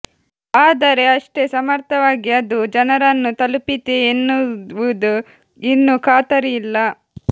ಆದರೆ ಅಷ್ಟೇ ಸಮರ್ಥವಾಗಿ ಅದು ಜನರನ್ನು ತಲುಪಿತೇ ಎನ್ನುವುದು ಇನ್ನೂ ಖಾತರಿ ಇಲ್ಲ